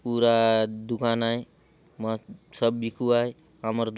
पूरा दुकान आय मस्त सब बिकुआय आमर दु --